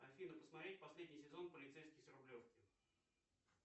афина посмотреть последний сезон полицейский с рублевки